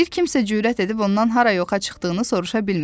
Bir kimsə cürət edib ondan hara yoxa çıxdığını soruşa bilmir.